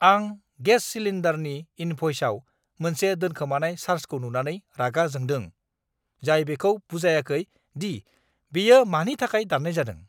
आं गेस सिलिन्डारनि इन्भ'इसाव मोनसे दोनखोमानाय चार्जखौ नुनानै रागा जोंदों, जाय बेखौ बुजायाखै दि बेयो मानि थाखाय दान्नाय जादों!